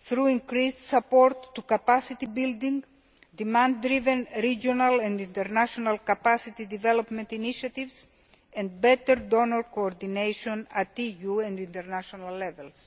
through increased support for capacity building, demand driven regional and international capacity development initiatives, and better donor coordination at EU and international levels.